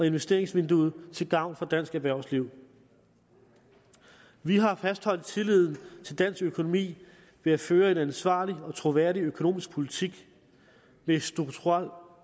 investeringsvinduet til gavn for dansk erhvervsliv vi har fastholdt tilliden til dansk økonomi ved at føre en ansvarlig og troværdig økonomisk politik med strukturel